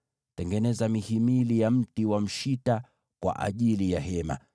“Tengeneza mihimili ya kusimamisha ya mti wa mshita kwa ajili ya maskani.